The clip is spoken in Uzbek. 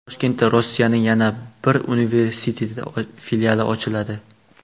Toshkentda Rossiyaning yana bir universiteti filiali ochiladi.